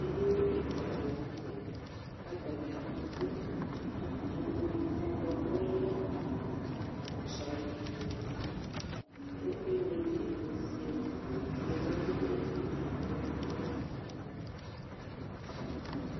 ɛdini kikɑdi lɑnute kɑtania du ikpoku bua kɔle ɑtsayikpoku ku ɛvlɛdi'iduziaa kɑdigbɑ du ɛdinie